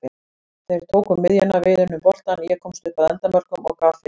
Þeir tóku miðjuna, við unnum boltann, ég komst upp að endamörkum og gaf fyrir.